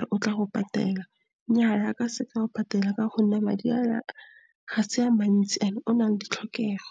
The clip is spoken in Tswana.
re o tla go patela. Nnyaa, a ka se ka a go patela, ka gonne madi ao ga se a mantsi, And ona le ditlhokego.